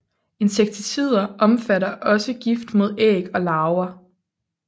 Insekticider omfatter også gift mod æg og larver